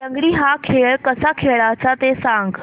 लंगडी हा खेळ कसा खेळाचा ते सांग